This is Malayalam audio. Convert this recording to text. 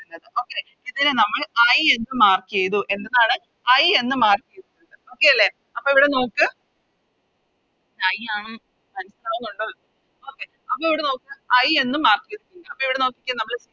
ന്നത് Okay ഇതിനെ നമ്മൾ I എന്ന് Mark ചെയ്തു എന്തിന്നാണ് I എന്ന് Mark ചെയ്തു Okay അല്ലെ അപ്പൊ ഇവിടെ നോക്ക് I ആണെന്ന് മനസ്സിലാവുന്നുണ്ടോ Okay അപ്പൊ ഇവിടെ നോക്ക് I എന്ന് Mark ചെയ്തിട്ടുണ്ട് അപ്പൊ ഇവിടെ നോക്കിക്കേ